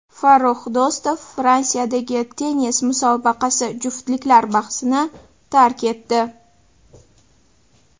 Farrux Do‘stov Fransiyadagi tennis musobaqasi juftliklar bahsini tark etdi.